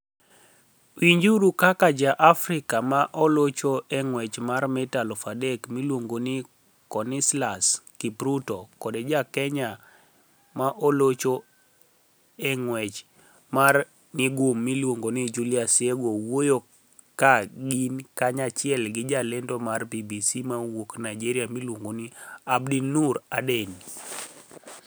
Winijuru kaka Ja-Afrika ma olocho e nig'wech mar mita 3,000 miluonigo nii Coniseslus Kipruto kod Ja-Keniya ma olocho e nig'wech mar nigum miluonigo nii Julius Yego wuoyo ka gini kaniyachiel gi jalenido mar BBC mawuok niigeria miluonigo nii Abdinoor Adeni.